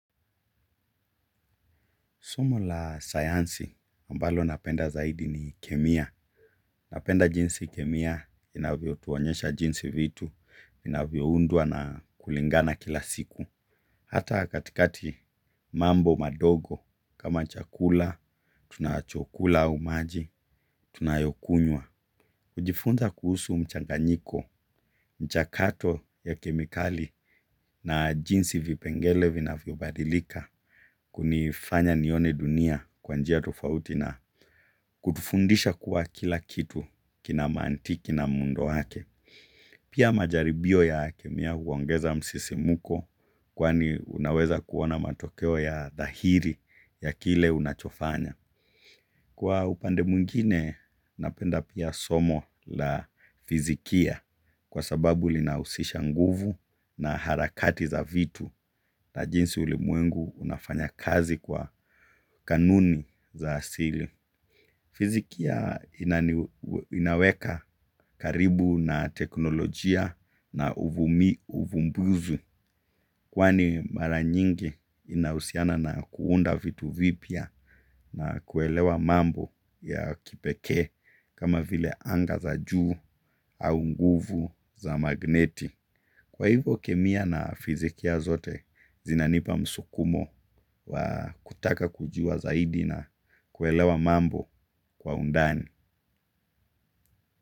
Somo la sayansi ambalo napenda zaidi ni kemia. Napenda jinsi kemia inavyo tuonyesha jinsi vitu, inavyo unduwa na kulingana kila siku. Hata katikati mambo madogo, kama chakula, tunachokula au maji, tunayokunywa. Ujifunza kuhusu mchanganyiko, mchakato ya kemikali na jinsi vipengele vinavyo badilika, kunifanya nione dunia kwa njia tufauti na kutufundisha kuwa kila kitu kina mantiki na muhundo wake. Pia majaribio ya kemia huongeza msisimuko kwani unaweza kuona matokeo ya dhahiri ya kile unachofanya. Kwa upande mwingine, napenda pia somo la fizikia kwa sababu linausisha nguvu na harakati za vitu na jinsi ulimwengu unafanya kazi kwa kanuni za asili. Fizikia inaweka karibu na teknolojia na uvumbuzi kwani mara nyingi inausiana na kuunda vitu vipya na kuelewa mambo ya kipekee kama vile anga za juu au nguvu za magneti. Kwa hivyo kemia na fizikia zote zinanipa msukumo wa kutaka kujua zaidi na kuelewa mambo kwa undani.